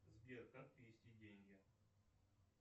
сбер как перевести деньги